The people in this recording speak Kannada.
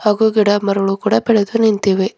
ಹಾಗು ಗಿಡಮರಗಳು ಕೂಡ ಬೆಳೆದು ನಿಂತಿವೆ.